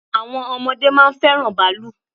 Àwọn ọmọdé máa ń fẹ́ràn bàálù.